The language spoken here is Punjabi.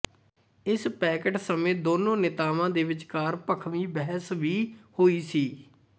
ਇਸ ਪੈਕਟ ਸਮੇਂ ਦੋਨੋਂ ਨੇਤਾਵਾਂ ਦੇ ਵਿਚਕਾਰ ਭਖਵੀ ਬਹਿਸ ਵੀ ਹੋਈ ਸੀ